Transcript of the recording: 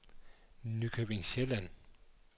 Nykøbing Sjælland